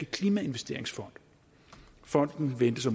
klimainvesteringsfonden fonden ventes at